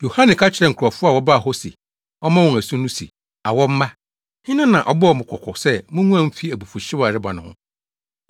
Yohane ka kyerɛɛ nkurɔfo a wɔbaa hɔ se ɔmmɔ wɔn asu no se, “Awɔ mma! Hena na ɔbɔɔ mo kɔkɔ sɛ munguan mfi abufuwhyew a ɛreba no ho?